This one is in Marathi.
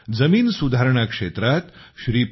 जमीन सुधारणा क्षेत्रात श्री पी